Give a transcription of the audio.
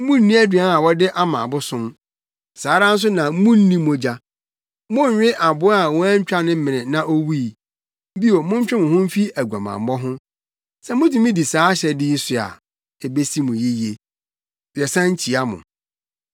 munnni aduan a wɔde ama abosom; saa ara nso na munnni mogya. Monnwe aboa a wɔantwa ne mene na owui. Bio, montwe mo ho mfi aguamammɔ ho. Sɛ mutumi di saa ahyɛde yi so a, ebesi mo yiye. Yɛsan kyia mo.